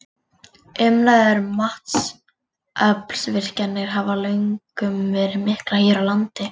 Umræður um vatnsaflsvirkjanir hafa löngum verið miklar hér á landi.